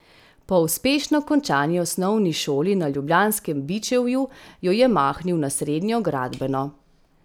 Po uspešno končani osnovni šoli na ljubljanskem Bičevju jo je mahnil na srednjo gradbeno.